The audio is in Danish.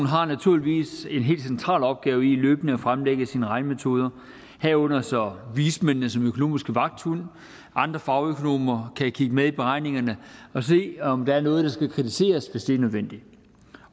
har naturligvis en helt central opgave i løbende at fremlægge sine regnemetoder herunder så vismændene som økonomiske vagthunde og andre fagøkonomer kan kigge med i beregningerne og se om der er noget der skal kritiseres hvis det er nødvendigt